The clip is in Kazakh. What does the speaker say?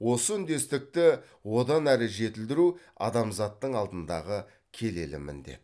осы үндестікті одан әрі жетілдіру адамзаттың алдындағы келелі міндет